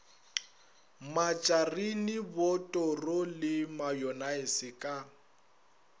matšarine botoro le mayonnaise ka